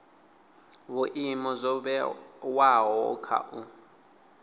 vhuimo zwo vhewaho kha u